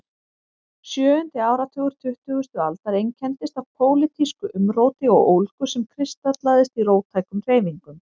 Sjöundi áratugur tuttugustu aldar einkenndist af pólitísku umróti og ólgu sem kristallaðist í róttækum hreyfingum.